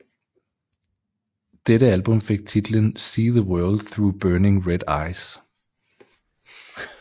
Dette album fik titlen See the World through Burning Red Eyes